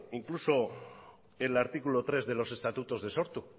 incluso el artículo tres de los estatutos de sortu